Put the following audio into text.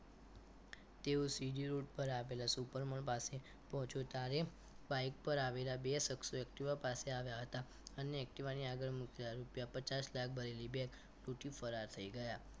તેઓ CG road પર આવેલા super mall પાસે પહોંચ્યો ત્યારે બાઈક પર આવેલા બે શખ્સોએ activa પાસે આવ્યા હતા અને activa ની આગળ મુકેલા રૂપિયા પચાસ લાખ ભરેલી bag લુંટી ફરાર થઈ ગયા